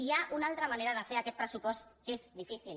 hi ha una altra manera de fer aquest pressupost que és difícil